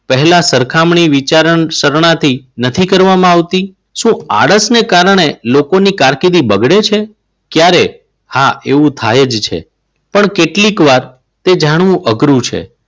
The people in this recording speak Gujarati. પહેલા સરખામણી વિચારશાનાથી નથી કરવામાં આવતી? શું આરરસને કારણે લોકોની કારકિર્દી બગડે છે? ક્યારે? હા એવું થાય જશે પણ કેટલીક વાર તે જાણવું અઘરું છે.